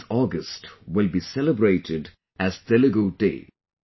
29 August will be celebrated as Telugu Day